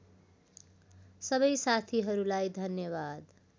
सबै साथीहरूलाई धन्यवाद